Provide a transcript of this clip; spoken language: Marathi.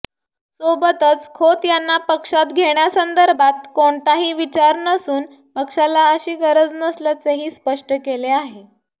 सोबतच खोत यांना पक्षात घेण्यासंदर्भात कोणताही विचार नसून पक्षाला अशी गरज नसल्याचेही स्पष्ट केले आहे